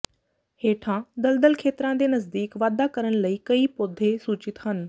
ਹੇਠਾਂ ਦਲਦਲ ਖੇਤਰਾਂ ਦੇ ਨਜ਼ਦੀਕ ਵਾਧਾ ਕਰਨ ਲਈ ਕਈ ਪੌਦੇ ਸੂਚਿਤ ਹਨ